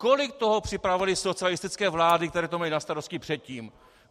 Kolik toho připravily socialistické vlády, které to měly na starosti předtím?